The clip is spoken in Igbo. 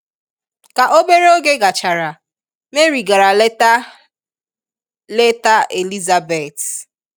Ka obere oge gachara, Mary gara leta leta Elizabeth.